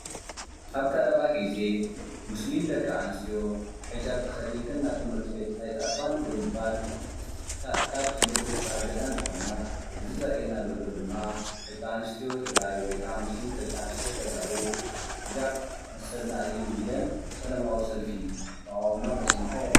ኣብ ቀረባ ጊዜ ሙስሊም ደቂ ኣንስትዮ ሕጃብ ተኸዲንክን ናብ ትምህርቲ ቤት ኣይትኣትዋን ብምባል ካብ ትምህርቲ ዝተኣገዳ እንትኾና እዚ ዘርእየና ደሎ ድማ ደቂ ኣንስትዮ ትግራይ ወይ ከዓ ድማ ሙስሊም ደቂ ኣንስትዮ ተጋሩ ሕጃብ መሰልና እዩ ኢለን ሰላማዊ ሰልፊ ተቓውሞ እንተስማዓ የርኢ፡፡